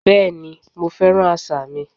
Bẹ́ẹ̀ni, mo fẹ́ràn àṣà mi